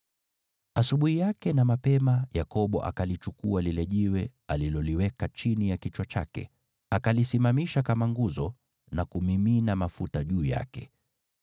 Asubuhi yake na mapema, Yakobo akalichukua lile jiwe aliloliweka chini ya kichwa chake, akalisimamisha kama nguzo na kumimina mafuta juu yake.